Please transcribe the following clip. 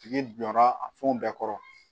Tigi jɔra a fɛnw bɛɛ kɔrɔ